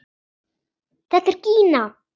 Þetta er Gína!